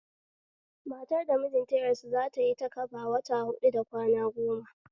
Matar da mijinta ya rasu zatayi takaba wata huɗu da kwana gona